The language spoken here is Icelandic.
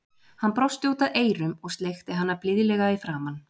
Hann brosti út að eyrum og sleikti hana blíðlega í framan.